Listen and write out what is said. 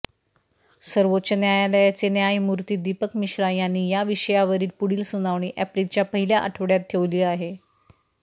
सर्वोच्च न्यायालयाचे न्यायमूर्ती दीपक मिश्रा यांनी या विषयावरील पुढील सुनावणी एप्रिलच्या पहिल्या आठवडय़ात ठेवली आहे